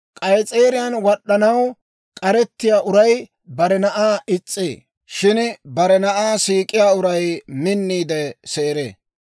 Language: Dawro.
K'ayis'eeriyaan wad'd'anaw k'arettiyaa uray bare na'aa is's'ee; shin bare na'aa siik'iyaa uray minniide seeree.